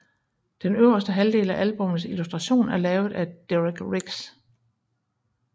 Den øverste halvdel af albummets illustration er lavet af Derek Riggs